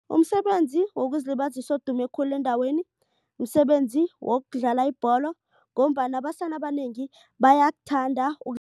Umsebenzi wokuzilibazisa odume khulu endaweni. Msebenzi wokudlala ibholo ngombana abasana abanengi bayakuthanda